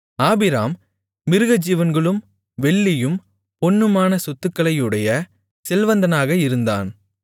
ஆபிராம் மிருகஜீவன்களும் வெள்ளியும் பொன்னுமான சொத்துக்களையுடைய செல்வந்தனாக இருந்தான்